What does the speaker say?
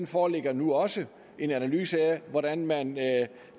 foreligger nu også en analyse af hvordan man